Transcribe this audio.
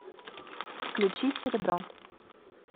включи серебро